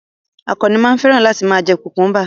Àkànnì máa ń fẹ́ràn láti ma jẹ́ kùkúḿbà